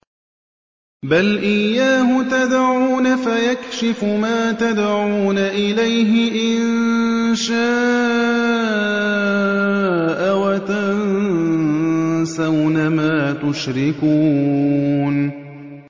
بَلْ إِيَّاهُ تَدْعُونَ فَيَكْشِفُ مَا تَدْعُونَ إِلَيْهِ إِن شَاءَ وَتَنسَوْنَ مَا تُشْرِكُونَ